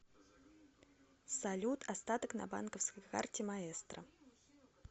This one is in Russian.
салют остаток на банковской карте маэстро